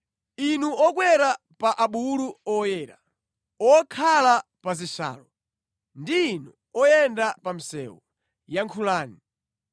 “Inu okwera pa abulu oyera, okhala pa zishalo, ndi inu oyenda pa msewu, yankhulani.